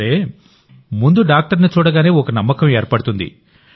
సరే ముందు డాక్టర్ని చూడగానే ఒక నమ్మకం ఏర్పడుతుంది